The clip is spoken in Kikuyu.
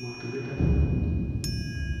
motungata ma kuoya gĩbandĩ.